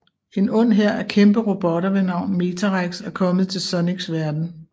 En ond hær af kæmpe robotter ved navn Metarex er kommet til Sonics verden